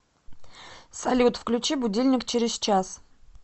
салют включи будильник через час